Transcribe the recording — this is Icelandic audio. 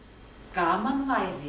gaman væri